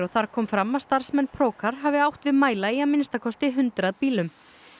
þar kom fram að starfsmenn hafi átt við mæla í að minnsta kosti hundrað bílum